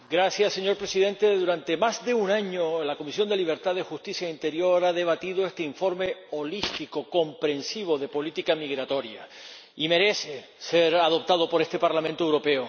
Señor Presidente, durante más de un año la Comisión de Libertades Civiles, Justicia y Asuntos de Interior ha debatido este informe holístico, comprehensivo, de política migratoria, que merece ser aprobado por este Parlamento Europeo.